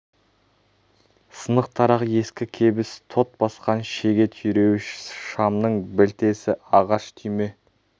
сынық тарақ ескі кебіс тот басқан шеге түйреуіш шамның білтесі ағаш түйме